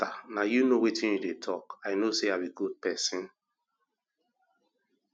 na you know wetin you dey talk i know say i be good person